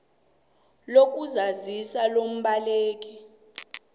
lesmart lokuzazisa lombaleki